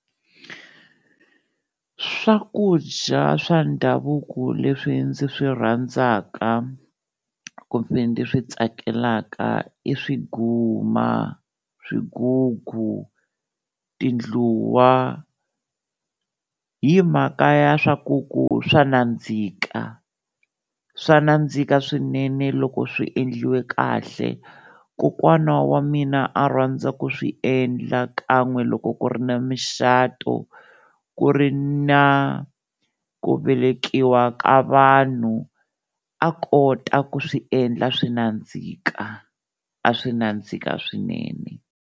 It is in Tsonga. Swakudya swa ndhavuko leswi ndzi swi rhandzaka kumbe ndzi swi tsakelaka i swiguma, swigugu, tindluwa hi mhaka ya swa ku ku swa nandzika, swa nandzika swinene loko swi endliwe kahle, kokwana wa mina a rhandza ku swi endla kan'we loko ku ri na micato, ku ri na ku velekiwa ka vanhu a kota ku swi endla swi nandzika, a swi nandzika swinene.